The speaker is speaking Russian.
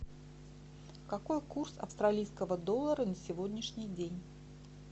какой курс австралийского доллара на сегодняшний день